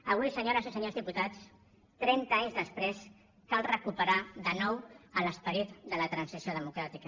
avui senyores i senyors diputats trenta anys després cal recuperar de nou l’esperit de la transició democràtica